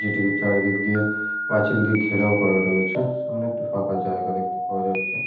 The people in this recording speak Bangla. যেটিকে চারিদিক দিয়ে পাঁচিল দিয়ে ঘেরাও করা রয়েছে। সামনে একটি ফাঁকা জায়গা দেখতে পাওয়া যাচ্ছে।